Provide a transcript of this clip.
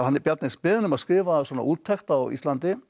Bjarni er beðinn um að skrifa úttekt á Íslandi